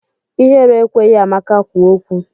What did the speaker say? Ihere ekweghị Amaka kwuo okwu.